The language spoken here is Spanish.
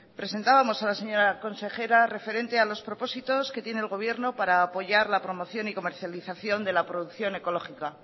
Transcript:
presentábamos a la señora consejera referente a los propósitos que tiene el gobierno para apoyar la promoción y la comercialización de la producción ecológica